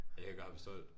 At jeg kan gøre ham stolt